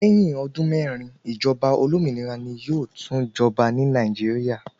Lẹ́yìn ọdún mẹ́ẹ́rin, ìjọba olómìnira ni yóò tún jọba ní Nàìjíríà.